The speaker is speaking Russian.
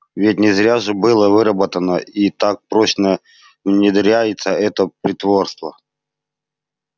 ведь не зря же было выработано и так прочно внедряется это притворство